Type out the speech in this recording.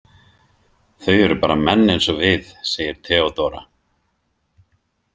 Þau eru bara menn eins og við, segir Theodóra.